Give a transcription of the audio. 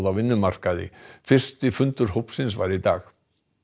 á vinnumarkaði fyrsti fundur hópsins var í dag